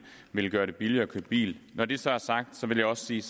ville gøre det billigere at køre bil når det så er sagt vil jeg også sige